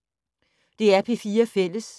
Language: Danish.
DR P4 Fælles